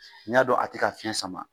N'i y'a dɔn a tɛ ka fiɲɛ sama